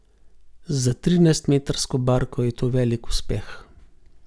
Za trinajst metrsko barko je to velik uspeh.